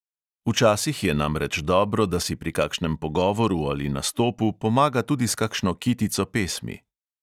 Včasih je namreč dobro, da si pri kakšnem pogovoru ali nastopu pomaga tudi s kakšno kitico pesmi.